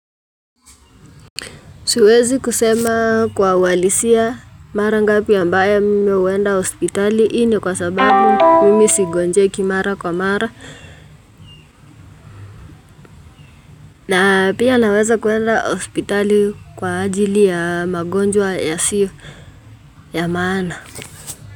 Siwezi kusema kwa uhalisia mara ngapi ambayo mimi huenda hospitali hii ni kwa sababu mimi sigonjeki mara kwa mara na pia naweza kwenda hospitali kwa ajili ya magonjwa yasiyo ya maana.